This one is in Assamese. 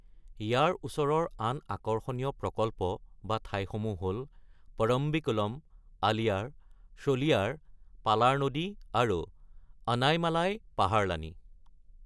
ইয়াৰ ওচৰৰ আন আকৰ্ষণীয় প্ৰকল্প বা ঠাইসমূহ হ’ল পৰম্বিকুলম, আলিয়াৰ, শোলিয়াৰ, পালাৰ নদী আৰু অনাইমালাই পাহাৰলানি।